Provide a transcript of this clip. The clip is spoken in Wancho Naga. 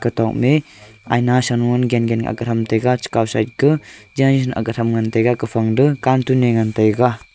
kenokne aina sanoe gengen akga tham taiga chekaw side ku akga tham ngan taiga kufang to carton e ngan taiga.